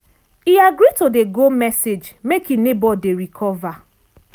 e agree to dey go message make e neighbor dey recover.